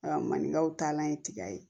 A maninkaw taalan ye tiga ye